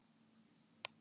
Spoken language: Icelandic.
Hef kött hjá mér.